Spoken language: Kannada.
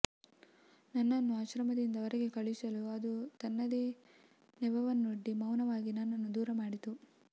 ನನ್ನನ್ನು ಆಶ್ರಮದಿಂದ ಹೊರಗೆ ಕಳಿಸಲು ಅದು ತನ್ನದೇ ನೆವವನ್ನೊಡ್ಡಿ ಮಾನವಾಗಿ ನನ್ನನ್ನು ದೂರಮಾಡಿತು